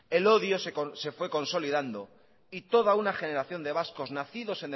el odio se fue consolidando y toda una generación de vascos nacidos